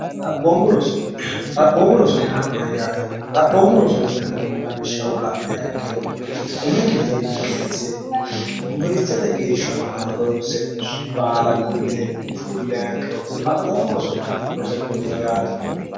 xaphoommu roso yaa mayyaate xaphoommu rosootinannihu lawishshaho la'ne a ikkiro umi kifilinni kense yuniwersitete geeshshanoha royinse baala gunde fulle a ikkiro xaphoommu roso rose gudino yaate